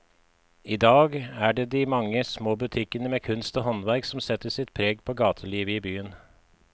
I dag er det de mange små butikkene med kunst og håndverk som setter sitt preg på gatelivet i byen.